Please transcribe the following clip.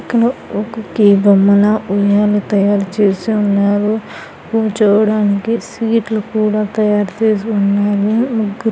ఒక కీ బొమ్మల ఉయ్యాలలు తయారు చేసి ఉన్నారు చూడ్డానికి సీట్లు కూడా తయారు చేసి ఉన్నారు ముగ్గురు--